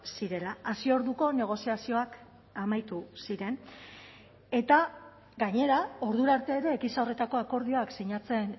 zirela hasi orduko negoziazioak amaitu ziren eta gainera ordura arte ere gisa horretako akordioak sinatzen